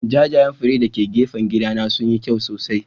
Jajayen fure???????? dake gefen gidana sunyi kyau sosai.